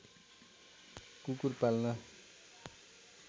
कुकुर पाल्न